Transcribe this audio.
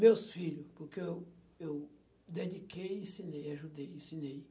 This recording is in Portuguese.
Meus filhos, porque eu eu dediquei, ensinei, ajudei, ensinei.